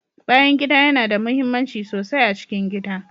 Bayan gida yana da muhimmanci sosai a cikin gida.